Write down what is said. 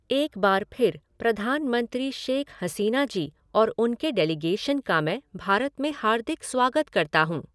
एक बार फिर प्रधानमंत्री शेख़ हसीना जी और उनके डेलीगेशन का मैं भारत में हार्दिक स्वागत करता हूँ।